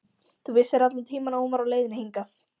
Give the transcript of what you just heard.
Þú vissir allan tímann að hún var á leiðinni hingað.